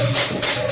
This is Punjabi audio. ਸੋਂਗ